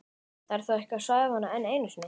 Ég fór á Barinn, á Galeiðuna og í